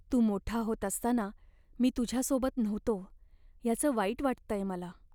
तू मोठा होत असताना मी तुझ्यासोबत नव्हतो याचं वाईट वाटतंय मला.